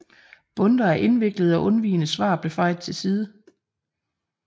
Bundter af indviklede og undvigende svar blev fejet til side